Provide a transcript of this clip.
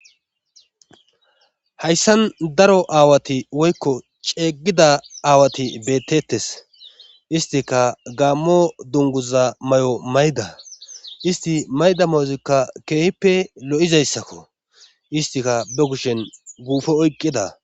Hayssan daro aawati woykko ceegida aawati bettettes istika gammo dunguza may7o mayda isti mayda mozika keehippe lo7izayssakko istika be kushen guufo oyqqida